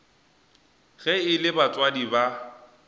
ge e le batswadi ba